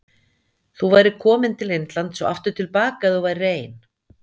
Þú værir komin til Indlands og aftur til baka ef þú værir ein.